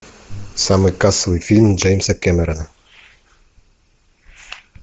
самый кассовый фильм джеймса кэмерона